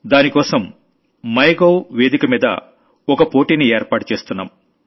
దానికోసం my government వేదికమీద ఓ కాంపిటీషన్ ను ఏర్పాటు చేస్తున్నాం